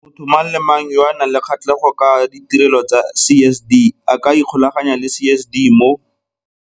Motho mang le mang yo a nang le kgatlhego ka ditirelo tsa CSD a ka ikgolaganya le CSD mo.